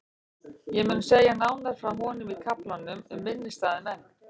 Ég mun segja nánar frá honum í kaflanum um minnisstæða menn.